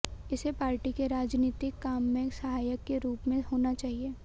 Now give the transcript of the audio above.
इसे पार्टी के राजनीतिक काम में सहायक के रूप में होना चाहिए